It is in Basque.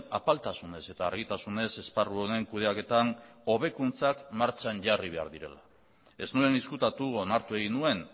apaltasunez eta argitasunez esparru honen kudeaketan hobekuntzak martxan jarri behar direla ez nuen ezkutatu onartu egin nuen